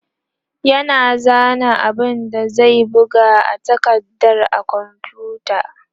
yana zana abun da zai buga a takardar a komfuta